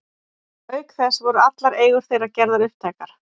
Auk þess voru allar eigur þeirra gerðar upptækar.